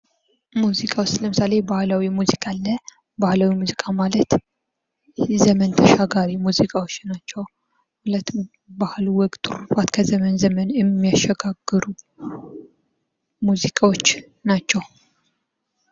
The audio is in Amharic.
ሙዚቃ ውስጥ ለምሳሌ ባህላዊ ሙዚቃ አለ ባህላዊ ሙዚቃ ማለት ዘመን ተሻጋሪ ሙዚቃዎች ናቸዉ ባህል ወግ ትሩፋት ከዘመን ዘመን የሚያሸጋግሩ ሙዚቃዎች ናቸው።